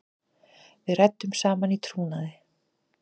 Við ræddum saman í trúnaði.